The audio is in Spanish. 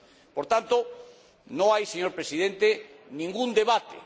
Por tanto, no hay, señor Presidente, ningún debate.